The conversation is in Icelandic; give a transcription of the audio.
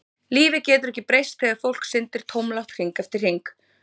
Lífið getur ekki breyst þegar fólk syndir tómlátt hring eftir hring.